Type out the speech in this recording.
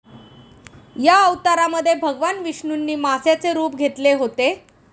या अवतारामध्ये भगवान विष्णूंनी माशाचे रूप घेतले होते.